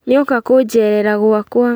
Nĩoka kũnjerera gwakwa